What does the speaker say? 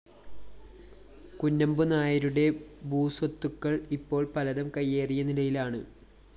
കുഞ്ഞമ്പുനായരുടെ ഭൂസ്വത്തുക്കള്‍ ഇപ്പോള്‍ പലരും കയ്യേറിയ നിലയിലാണ്